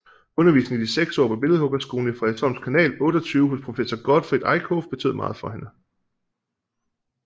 Undervisningen i de seks år på billedhuggerskolen i Frederiksholms Kanal 28 hos professor Gottfred Eickhoff betød meget for hende